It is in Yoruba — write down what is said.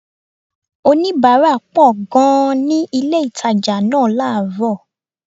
Oníbàárà pọ̀ gan-an ni ilé-ìtàjà náà láàrọ̀